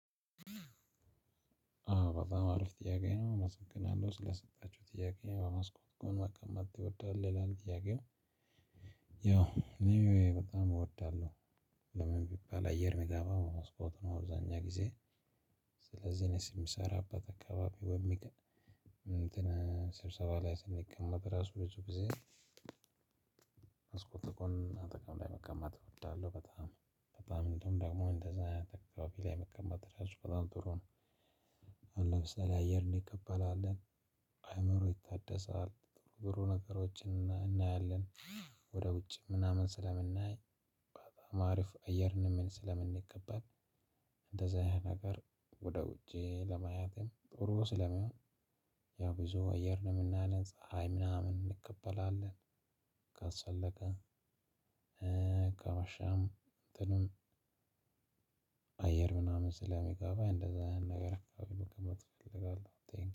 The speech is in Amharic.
አዎ በጣም አሪፍ ጥያቄ ነው። አመሰግናለሁ ስለሰጣችሁኝ ጥያቄ በመስኮት ጎን መቀመጥ ትወዳለህ ይላል? ጥያቄው ያው በጣም እወዳለሁ። ለምን ቢባል አየር የሚገባው መስኮት ነው። አብዛኛ ጊዜ ስለዚህ እኔ የምሰራበት አካባቢ በሚቀን ስብሰባ ላይ ስንቀመጥ ራሱ በጭብጭብ ጊዜ። መስኮቱ ጎን መቀመጥ እወዳለሁ በጣም በጣም እንደውም ደግሞ እንደዛ ጥግ አካባቢ ላይ መቀመጥ ራሱ በጣም ጥሩ ነው። ለምሳሌ አየር እንቀበላለን አእምሮ ይታደሳል። ብሩ ነገሮችን እናያለን። ወደ ውጭ ምናምን ስለምናይ በቃ አሪፍ አየርን ስለምንቀበል። እንደዛ ያህል ነገር ወደ ውጪ ለማየትም ጥሩ ስለሚሆን። ብዙ አየር ነው የምናነጽ ፀሀይ ምናምን እንቀበላለን። ካስፈለገ አየር ምናምን ስለሚገባ እንደዛ ነገር አይደለም ተፈልጋለሁ